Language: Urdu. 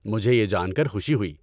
مجھے یہ جان کر خوشی ہوئی۔